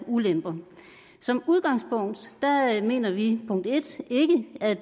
og ulemper som udgangspunkt mener vi ikke at